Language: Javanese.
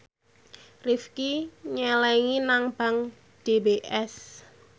Rifqi nyelengi nang bank DBS